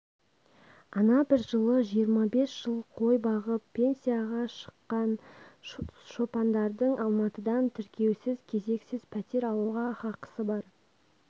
ана бір жылы жиырма бес жыл қой бағып пенсияға шыққан шопандардың алматыдан тіркеусіз кезексіз пәтер алуға хақысы бар